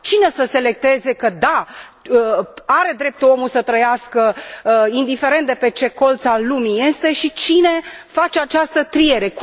Cine să selecteze că da, are dreptul omul să trăiască indiferent de pe ce colț al lumii este și cine face această triere?